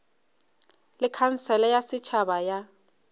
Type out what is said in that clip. le khansele ya setšhaba ya